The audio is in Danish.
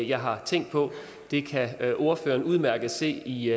jeg har tænkt på det kan ordføreren udmærket se i